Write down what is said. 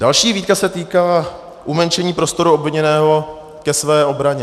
Další výtka se týkala umenšení prostoru obviněného ke své obraně.